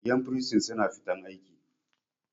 yan bursin suna fita aiki